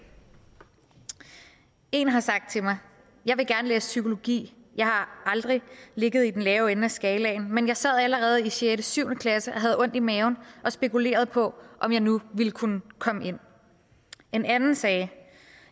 en har sagt til mig jeg vil gerne læse psykologi jeg har aldrig ligget i den lave ende af skalaen men jeg sad allerede i sjette syv klasse og havde ondt i maven og spekulerede på om jeg nu ville kunne komme ind en anden sagde